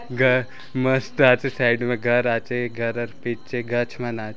घर मस्त आचे साइड में घर आचे घरर पीछे गच मन आ-- ।